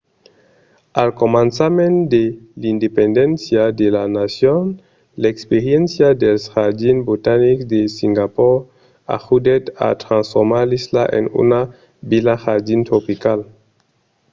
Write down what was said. al començament de l'independéncia de la nacion l'experiéncia dels jardins botanics de singapor ajudèt a transformar l'isla en una vila jardin tropical